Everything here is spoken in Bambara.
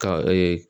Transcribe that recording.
Ka